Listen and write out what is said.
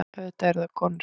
Auðvitað eru það konur.